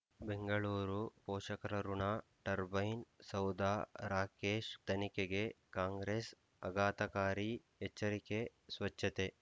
ಬೆಂಗಳೂರು ಪೋಷಕರಋಣ ಟರ್ಬೈನ್ ಸೌಧ ರಾಕೇಶ್ ತನಿಖೆಗೆ ಕಾಂಗ್ರೆಸ್ ಆಘಾತಕಾರಿ ಎಚ್ಚರಿಕೆ ಸ್ವಚ್ಛತೆ